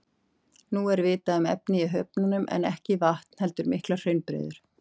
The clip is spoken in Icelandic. Nú er vitað að efnið í höfunum er ekki vatn heldur miklar hraunbreiður.